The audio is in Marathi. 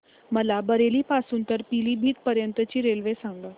मला बरेली पासून तर पीलीभीत पर्यंत ची रेल्वे सांगा